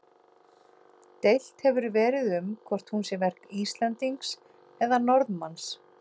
Deilt hefur verið um hvort hún sé verk Íslendings eða Norðmanns.